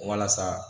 Walasa